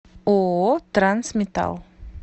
ооо трансметалл